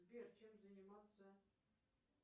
сбер чем заниматься